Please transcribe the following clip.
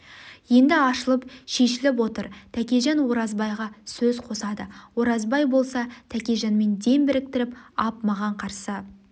енді ашылып шешіліп отыр тәкежан оразбайға сөз қосады оразбай болса тәкежанмен дем біріктіріп ап маған қарсы